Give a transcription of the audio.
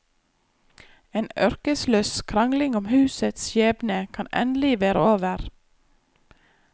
En ørkesløs krangling om husets skjebne kan endelig være over.